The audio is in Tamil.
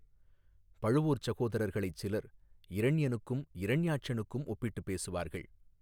பழுவூர்ச் சகோதரர்களைச் சிலர் இரணியனுக்கும் இரண்யாட்சனுக்கும் ஒப்பிட்டுப் பேசுவார்கள்.